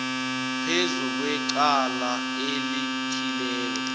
phezu kwecala elithileko